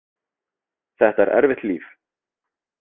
Þetta er erfitt líf.